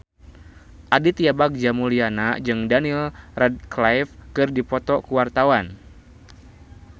Aditya Bagja Mulyana jeung Daniel Radcliffe keur dipoto ku wartawan